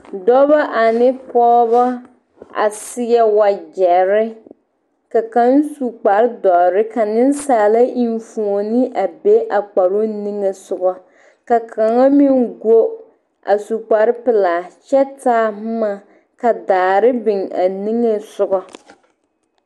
Dɔba ane pɔgeba a seɛ wagyɛre ka kaŋ su kparedɔre ka nensaala enfuoni a be a kparoŋ niŋesogɔ ka kaŋa meŋ go a su kparepelaa kyɛ boma ka daare biŋ a niŋesogɔ.